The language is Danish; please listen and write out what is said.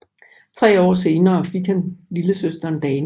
Tre år senere fik hun lillesøsteren Dana